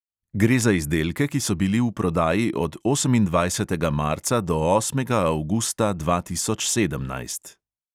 Gre za izdelke, ki so bili v prodaji od osemindvajsetega marca do osmega avgusta dva tisoč sedemnajst.